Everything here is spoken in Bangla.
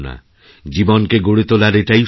জীবনকে গড়ে তোলার এটাই সময়